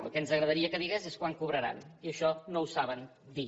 el que ens agradaria que digués és quan cobraran i això no ho saben dir